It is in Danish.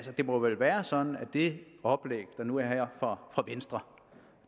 det må vel være sådan at det oplæg der nu er her fra venstre